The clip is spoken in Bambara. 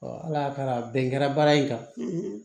ala y'a kɛ a bɛn kɛra baara in kan